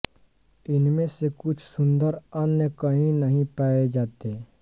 इनमें से कुछ सुंदर अन्य कहीं नहीं पाए जाते